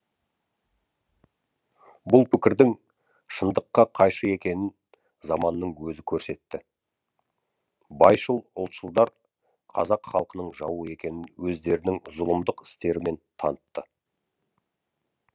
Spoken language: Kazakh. бұл пікірдің шындыққа қайшы екенін заманның өзі көрсетті байшыл ұлтшылдар қазақ халқының жауы екенін өздерінің зұлымдық істерімен танытты